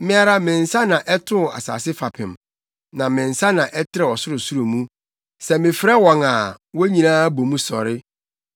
Me ara me nsa na ɛtoo asase fapem, na me nsa na ɛtrɛw ɔsorosoro mu; sɛ mefrɛ wɔn a, wɔn nyinaa bɔ mu sɔre.